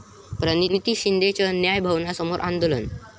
प्रणिती शिंदेंचं न्यायभवनासमोर आंदोलन